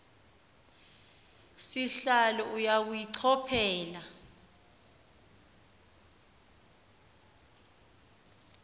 sihlalo uya kuyichophela